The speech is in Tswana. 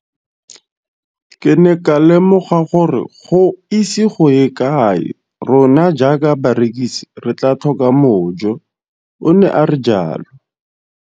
Ke ne ka lemoga gore go ise go ye kae rona jaaka barekise re tla tlhoka mojo, o ne a re jalo.